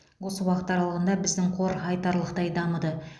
осы уақыт аралығында біздің қор айтарлықтай дамыды